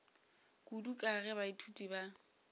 kudu ka ge baithuti ba